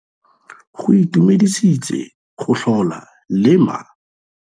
Go itumedisitse go tlhola le ma.